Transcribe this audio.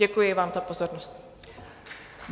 Děkuji vám za pozornost.